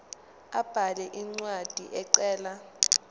abhale incwadi ecela